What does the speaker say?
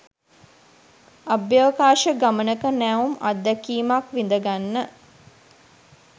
අභ්‍යවකාශ ගමනක නැවුම් අත්දැකීමක් විඳ ගන්න!